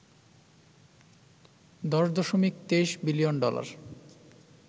১০ দশকি ২৩ billion dollar